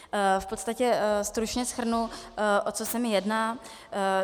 V podstatě stručně shrnu, o co se mi jedná.